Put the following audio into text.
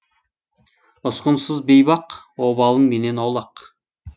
ұсқынсыз бейбақ обалың менен аулақ